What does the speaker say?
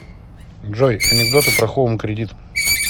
джой анекдоты про хоум кредит